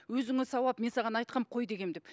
өзіңе сауап мен саған айтқанмын қой дегенмін деп